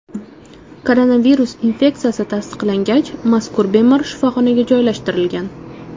Koronavirus infeksiyasi tasdiqlangach, mazkur bemor shifoxonaga joylashtirilgan.